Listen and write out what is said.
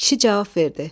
Kişi cavab verdi.